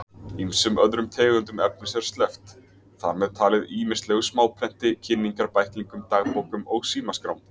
Ýmsum öðrum tegundum efnis er sleppt, þar með talið ýmislegu smáprenti, kynningarbæklingum, dagbókum og símaskrám.